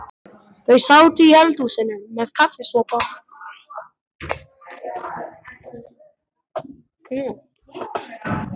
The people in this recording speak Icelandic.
Þau sátu í eldhúsinu með kaffisopa.